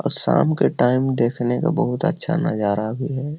और शाम के टाइम देखने का बहुत अच्छा नजारा भी है।